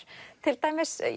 til dæmis